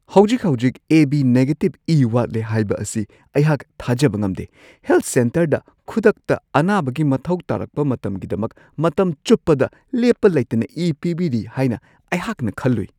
ꯍꯧꯖꯤꯛ-ꯍꯧꯖꯤꯛ A B negative ꯏ ꯋꯥꯠꯂꯦ ꯍꯥꯏꯕ ꯑꯁꯤ ꯑꯩꯍꯥꯛ ꯊꯥꯖꯕ ꯉꯝꯗꯦ ꯫ ꯍꯦꯜꯊ ꯁꯦꯟꯇꯔꯗ ꯈꯨꯗꯛꯇ ꯑꯅꯥꯕꯒꯤ ꯃꯊꯧ ꯇꯥꯔꯛꯄ ꯃꯇꯝꯒꯤꯗꯃꯛ ꯃꯇꯝ ꯆꯨꯞꯄꯗ ꯂꯦꯞꯄ ꯂꯩꯇꯅ ꯏ ꯄꯤꯕꯤꯔꯤ ꯍꯥꯏꯅ ꯑꯩꯍꯥꯛꯅ ꯈꯜꯂꯨꯏ ꯫